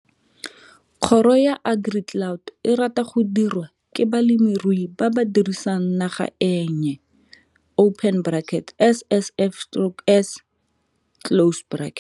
Kgoro ya AgriCloud e rata go dirwa ke balemirui ba ba dirisang naga e nnye SSF'S.